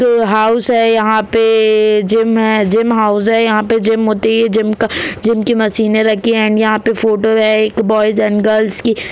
दो हाउस है यहां पे जिम है जिम हाउस हैं यहां पे जिम होती है जिम का की मशीनें रखी है यहां पे फ़ोटो है एक बॉयस एण्ड गर्ल्स की --